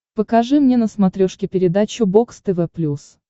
покажи мне на смотрешке передачу бокс тв плюс